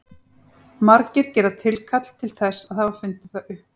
Margir gera tilkall til þess að hafa fundið það upp.